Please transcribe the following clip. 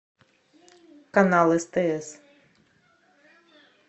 канал стс